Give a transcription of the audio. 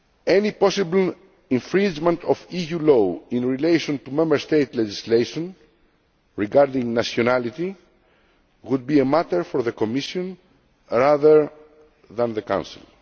Any possible infringement of EU law in relation to Member State legislation regarding nationality would be a matter for the Commission rather than the Council.